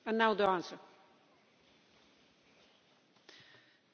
Ja, aber Sie wissen selbst, dass es in Syrien derzeit nicht möglich ist zu studieren.